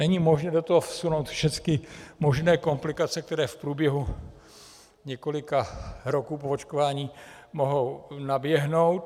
Není možné do toho vsunout všecky možné komplikace, které v průběhu několika roků po očkování mohou naběhnout.